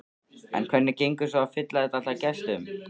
En hvernig gengur svo að fylla þetta allt af gestum?